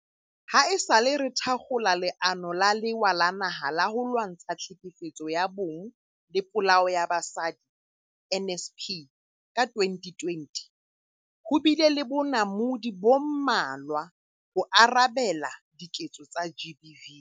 Haesale re thakgola Leano la Lewa la Naha la ho Lwantsha Tlhekefetso ya Bong le Polao ya Basadi, NSP, ka 2020, ho bile le bonamodi bo mmalwa ho arabela diketso tsa GBV.